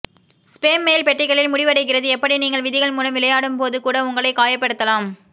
spam mail பெட்டிகளில் முடிவடைகிறது எப்படி நீங்கள் விதிகள் மூலம் விளையாடும் போது கூட உங்களை காயப்படுத்தலாம்